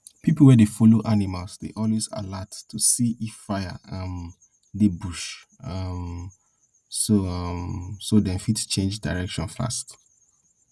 people wey dey follow animal dey always alert to see if fire um dey bush um so um so dem fit change direction fast